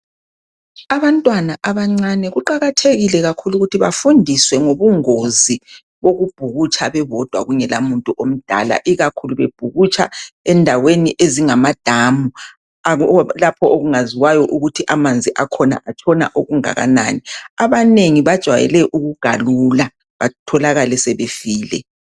Abantwana abancane kuqakathekile kakhulu ukuthi bafundiswe ngobungozi bokubhukutsha bebodwa kungela muntu omdala ikakhulu bebhukutsha endaweni ezinjengamadamu lapho okungaziwayo ukuthi amanzi akhona atshona okungakanani abanengi bajwayele ukugalula batholakale sebefile